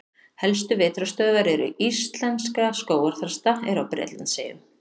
Helstu vetrarstöðvar íslenskra skógarþrasta eru á Bretlandseyjum.